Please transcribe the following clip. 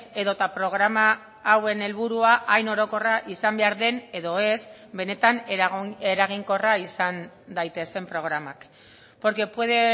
edota programa hauen helburua hain orokorra izan behar den edo ez benetan eraginkorra izan daitezen programak porque puede